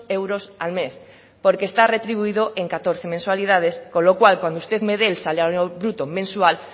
euros al mes porque está retribuido en catorce mensualidad con lo cual cuando usted me dé el salario bruto mensual